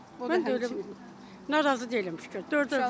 Mən də razıyam, narazı deyiləm şükür.